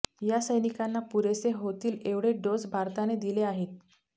या सैनिकांना पुरेसे होतील एवढे डोस भारताने दिले आहेत